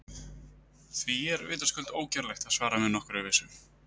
Því er vitaskuld ógerlegt að svara með nokkurri vissu.